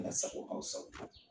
Ala sago aw sago.